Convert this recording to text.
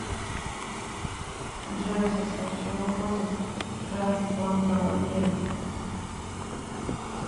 джой в состав чего входит трансплантология